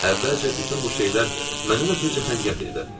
Əvvəlcə bütün bu şeylər məndən ötrü cəfəngiyat idi.